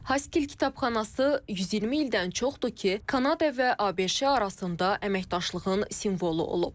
Haskil kitabxanası 120 ildən çoxdur ki, Kanada və ABŞ arasında əməkdaşlığın simvolu olub.